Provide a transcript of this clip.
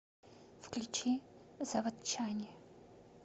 включи заводчане